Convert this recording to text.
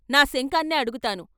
"నా శంఖాన్నే అడుగుతాను.....